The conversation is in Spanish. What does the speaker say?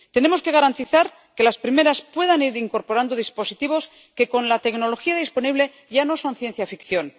Tenemos que garantizar que las primeras puedan ir incorporando dispositivos que, con la tecnología disponible, ya no son ciencia ficción.